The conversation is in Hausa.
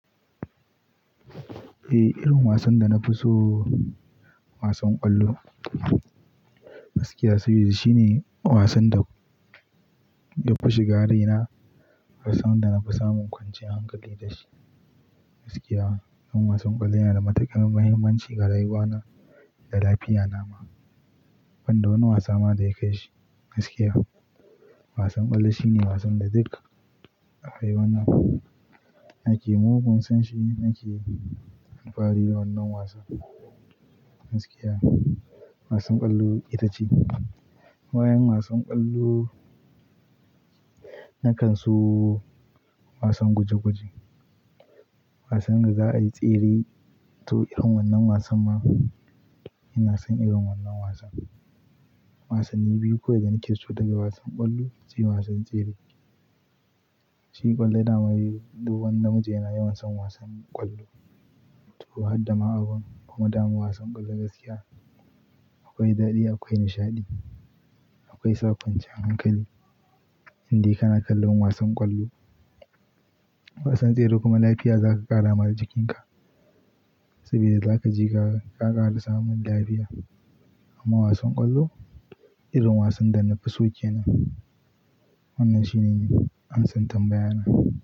Eh, irin wasan da na fi so wasan ƙwallo. Gaskiya saboda shine wasan da ya fi shiga raina, wasan da na fi samun kwanciyar hankali da shi. Gaskiya irin wasan ƙwallo yana da matuƙar muhimmanci ga rayuwa na da lafiya na ma. Banda wani wasa ma da ya kai shi gaskiya. Wasan ƙwallo shine wasan da duk a rayuwa na nake mugun sonshi, nake yin labari na wannan wasan. Gaskiya wasan ƙwallo ita ce. Ba Yan wasan ƙwallo na kan so wasan guje-guje, wasan da za a yi tsere to irin wannan wasan ma ina son irin wannan wasan. Wasanni biyu kawai da nake so daga wasan ƙwallo sai wasan tsere. Shi ƙwallo dama dai duk wani namiji yana yawan son wasan ƙwallo. To, hadda ma'aƙan kuma damu wasan ƙwallo gaskiya akwai daɗi, akwai nishaɗi, akwai sakonci hankali in dai kana kallon wasan ƙwallo. Wasan tsere kuma lafiya zaka ƙara ma jikin ka saboda zaka ji ka ƙara samun lafiya. Amma wasan ƙwallo irin wasan da na fi so ke nan. Wannan shine an san tambaya na.